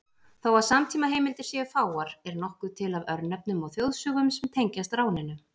Þó að samtímaheimildir séu fáar er nokkuð til af örnefnum og þjóðsögum sem tengjast ráninu.